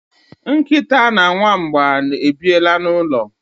nkịta na nwamba ebiela n'ụlọ